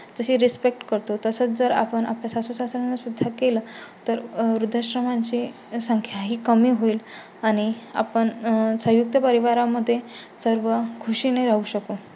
तशी रिस्पेक्ट करतो तसं जर आपण आपल्या सासू सासऱ्यां ना सुद्धा केला. तर वृद्धाश्रमांची संख्या ही कमी होईल आणि आपण संयुक्त परिवारा मध्ये सर्व खुशी ने राहू शकतो